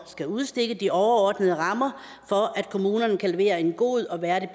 skal udstikke de overordnede rammer for at kommunerne kan levere en god og værdig